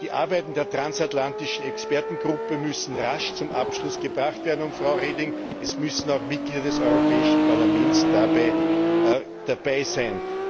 Die Arbeiten der transatlantischen Expertengruppe müssen rasch zum Abschluss gebracht werden, und, Frau Reding, es müssen auch Mitglieder des Europäischen Parlaments dabei sein.